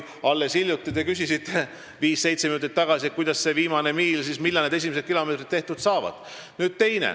Alles hiljuti, viis-seitse minutit tagasi, te küsisite, millal need viimase miili esimesed kilomeetrid tehtud saavad.